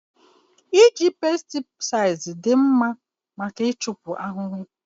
Iji pesticides dị mma maka ịchupụ ahụhụ